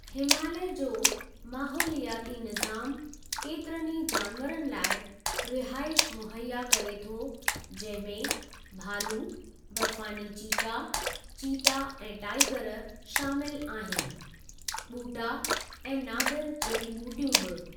हिमालय जो माहोलियाती निज़ामु केतिरनि ई जानवरनि लाइ रिहाइश मुहैया करे थो जंहिं में भालू, बर्फ़ानी चीता, चीता ऐं टाईगर शामिलु आहिनि, ॿूटा ऐं नादिर जड़ी ॿूटियूं बि।